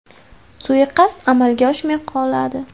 Suiqasd amalga oshmay qoladi.